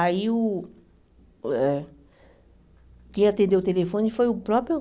Aí, uh eh quem atendeu o telefone foi o próprio...